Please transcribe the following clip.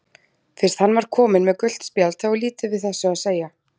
Fyrst hann var kominn með gult spjald þá er lítið við þessu að segja.